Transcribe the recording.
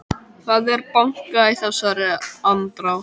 Það er bankað í þessari andrá.